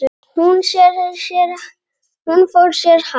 Hún fór sér hægt.